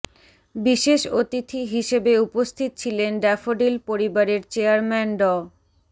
বিশেষ অতিথি হিসেবে উপস্থিত ছিলেন ড্যাফোডিল পরিবারের চেয়ারম্যান ড